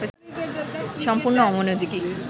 সম্পূর্ণ অমনোযোগী